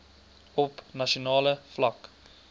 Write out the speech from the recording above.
op nasionale vlak